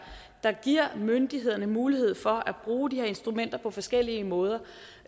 der giver myndighederne mulighed for at bruge de her instrumenter på forskellige måder